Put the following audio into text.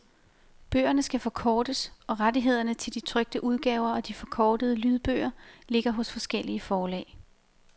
Bøgerne skal forkortes, og rettighederne til de trykte udgaver og de forkortede lydbøger ligger hos forskellige forlag.